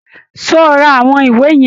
Ṣé o ra àwọn ìwé yẹn!